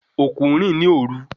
Okú n rìn ní òru